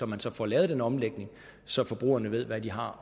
man så får lavet den omlægning så forbrugerne ved hvad de har